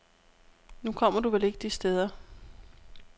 Nu kommer du vel ikke de steder.